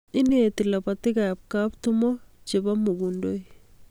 Ineti lapatikab kaptumo chebo mugundoi